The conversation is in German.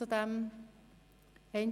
Das ist nicht der Fall.